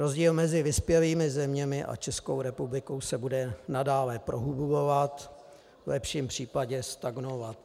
Rozdíl mezi vyspělými zeměmi a Českou republikou se bude nadále prohlubovat, v lepším případě stagnovat.